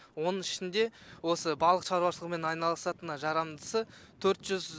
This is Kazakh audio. оның ішінде осы балық шаруашылығымен айналысатынына жарамдысы төрт жүз